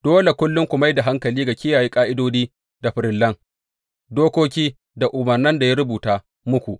Dole kullum ku mai da hankali ga kiyaye ƙa’idodi da farillan, dokoki da umarnan da ya rubuta muku.